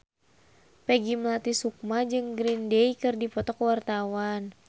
Peggy Melati Sukma jeung Green Day keur dipoto ku wartawan